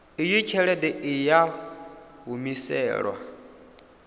iyi tshelede i a humiselwa